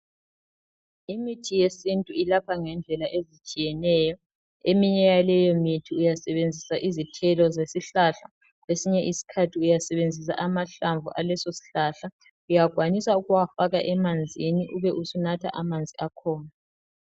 Imithi yesintu ilapha ngendlela ezitshiyeneyo. Eminye yaleyo mithi uyasebenzisa izithelo zesihlahla, kwesinye isikhathi uyasebenzisa amahlamvu alesosihlahla. Uyakwanisa ukuwafaka emanzini ube usunatha amanzi akhona.